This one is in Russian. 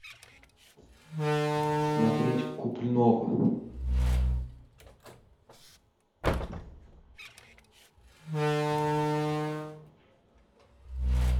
смотреть куплинова